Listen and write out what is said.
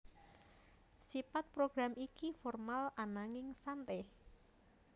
Sipat program iki formal ananging sante